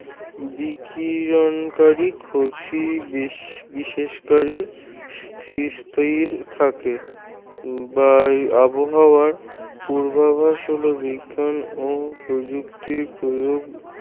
বিকিরণকারী ক্ষতিবিশেষ কারী থাকে বা আবহাওয়ার পূর্বাভাস হল বিজ্ঞান ও প্রযুক্তির প্রয়োগ